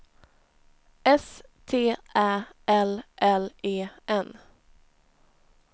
S T Ä L L E N